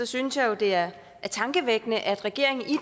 synes jo det er tankevækkende at regeringen i